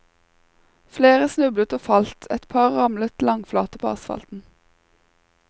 Flere snublet og falt, et par ramlet langflate på asfalten.